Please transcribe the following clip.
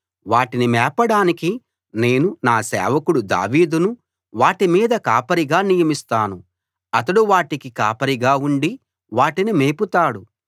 వాటిని మేపడానికి నేను నా సేవకుడు దావీదును వాటి మీద కాపరిగా నియమిస్తాను అతడు వాటికి కాపరిగా ఉండి వాటిని మేపుతాడు